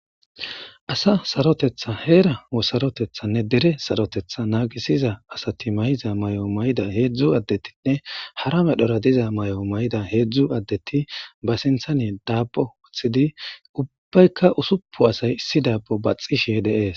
asa sarotetha heera wosarotethanne dere sarotetha naagisiza asati mayza may7o mayda heedzdzu addetinne hara medhora diza may7o may7da heedzdzu addeti ba sinthane daabbo wothidi ubbaykka usuppu asay issi daabbo baxishe deees